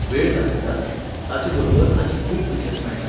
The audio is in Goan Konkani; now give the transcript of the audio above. वेळ दाखयताच, ताचे बरोबर आनीक खूब फिचर्स मेळटात.